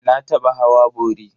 Na taɓa hawa bori.